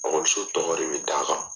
tɔgɔ de bɛ d' a kan.